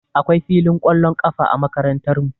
Akwai filin ƙwallon ƙafa a Makarantarmu